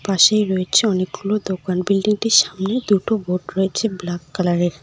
পাশেই রয়েছে অনেকগুলো দোকান বিল্ডিংটির সামনে দুটো বোর্ড রয়েছে ব্ল্যাক কালারের।